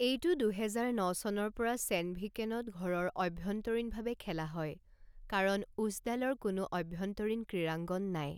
এইটো দুহেজাৰ ন চনৰ পৰা ছেণ্ডভিকেনত ঘৰৰ অভ্যন্তৰীণভাৱে খেলা হয় কাৰণ উছডালৰ কোনো অভ্যন্তৰীণ ক্ৰীড়াংগন নাই।